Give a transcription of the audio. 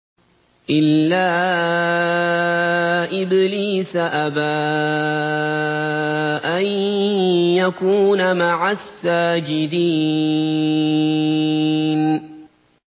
إِلَّا إِبْلِيسَ أَبَىٰ أَن يَكُونَ مَعَ السَّاجِدِينَ